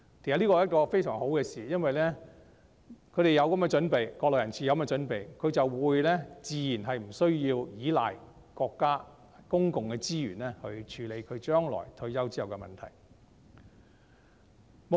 這是一件非常好的事，因為國內人士有這樣的準備，自然無須倚賴國家的公共資源來處理將來退休之後的問題。